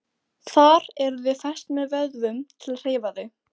Þar eru þau fest með vöðvum sem hreyfa þau.